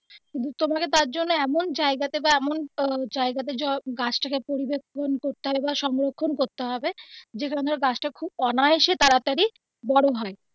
তোমাকে তার জন্য এমন জায়গা তে বা এমন জায়গা তে গাছটাকে পরিবেক্ষন করতে হবে বা সংরক্ষণ করতে হবে যেন গাছ টা খুব অনায়াসে তাড়াতাড়ি বড়ো হয়.